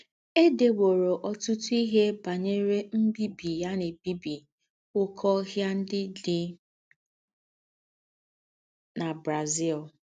È déwòrọ̀ ọ́tùtù íhe bányerè mbìbì à ná-èbíbí óké óhìà ńdị́ dị́ na Brazil.